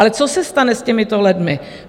Ale co se stane s těmito lidmi?